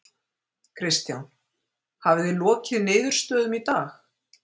Kristján: Hafið þið lokið niðurstöðum í dag?